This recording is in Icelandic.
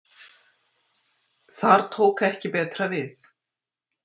Þar tók ekki betra við.